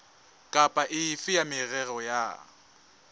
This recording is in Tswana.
kapa efe ya merero ya